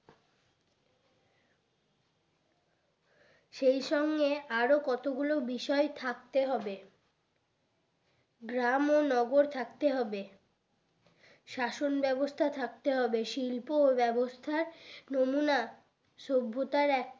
সেই সঙ্গে আরো কত গুলো বিষয় থাকতে হবে গ্রাম ও নগর থাকতে হবে শাসন ব্যবস্থা থাকতে হবে শিল্প ব্যাবস্থার নমুনা সভ্যতার এক